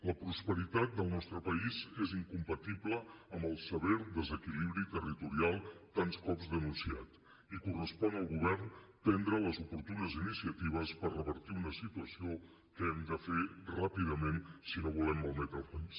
la prosperitat del nostre país és incompatible amb el sever desequilibri territorial tants cops denunciat i correspon al govern prendre les oportunes incitaves per revertir una situació que ho hem de fer ràpidament si no volem malmetre el país